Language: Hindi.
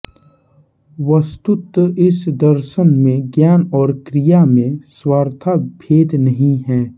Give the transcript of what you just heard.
वस्तुत इस दर्शन में ज्ञान और क्रिया में सर्वथा भेद नहीं है